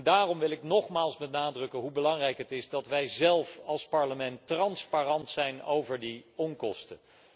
Daarom wil ik nogmaals benadrukken hoe belangrijk het is dat wij zelf als Parlement transparant zijn over die onkosten.